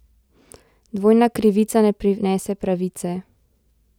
Dvojna krivica ne prinese pravice!